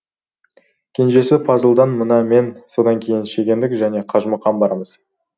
кенжесі пазылдан мына мен содан кейін шегендік және қажымұқан бармыз